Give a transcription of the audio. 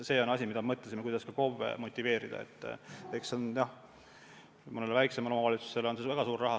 Me mõtlesime, kuidas KOV-e motiveerida, ja leidsime, et mõnele väiksemale omavalitsusele on see väga suur raha.